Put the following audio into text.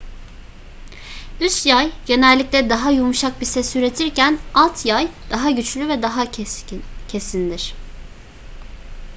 üst yay genellikle daha yumuşak bir ses üretirken alt yay daha güçlü ve daha kesindir